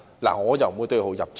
我不會對號入座。